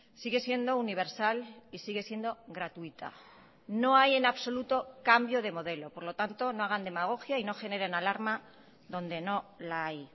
sigue siendo universal y sigue siendo gratuita no hay en absoluto cambio de modelo por lo tanto no hagan demagogia y no generen alarma donde no la hay